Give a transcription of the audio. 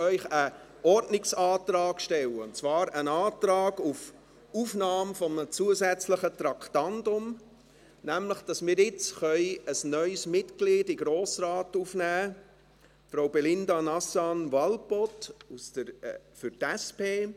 Ich muss einen Ordnungsantrag stellen, und zwar einen Antrag auf Aufnahme eines zusätzlichen Traktandums, damit wir nämlich jetzt ein neues Mitglied in den Grossen Rat aufnehmen können, Frau Belinda Nazan Walpoth für die SP.